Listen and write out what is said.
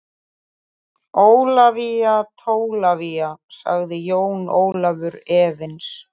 Ólafía Tólafía, sagði Jón Ólafur efins.